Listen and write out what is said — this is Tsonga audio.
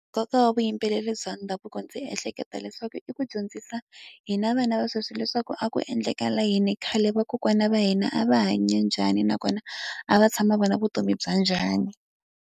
Nkoka wa vuyimbeleri bya ndhavuko ndzi ehleketa leswaku i ku dyondzisa hina vana va sweswi leswaku a ku endleka layini khale, vakokwana va hina a va hanya njhani, nakona a va tshama vona vutomi bya njhani.